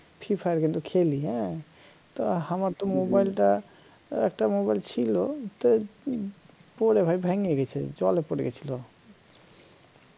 fifa কিন্তু খেলি হ্যা তো আমার তো mobile টা একটা mobile ছিল তা পরে ভাই ভাইঙ্গা গেছে জলে পড়ে গেছিল